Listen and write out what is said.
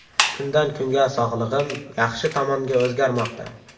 Kundan kunga sog‘lig‘im yaxshi tomonga o‘zgarmoqda.